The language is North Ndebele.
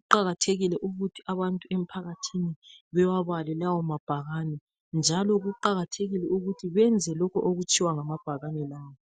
Kuqakathekile ukuthi abantu emphakathini bewabale lawo mabhakani njalo kuqakathekile ukuthi benze lokho okutshiwa ngamabhakani lawa.